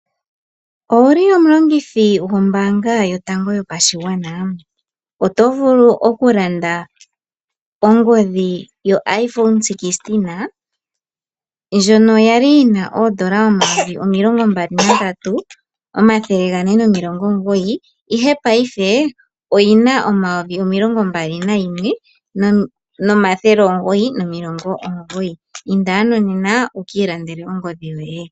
Owuli omulongithi gwombaanga yotango yopashigwana? Oto vulu oku landa onhodhi yo Iphone 16 ndjono ya li yi na oondola 23 499 ihe paife oyi na oondola 21999. Inda ano nena wuki ilandele ongodhi yoye.